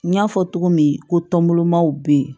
N y'a fɔ cogo min ko tɔnbɔlɔmaw bɛ yen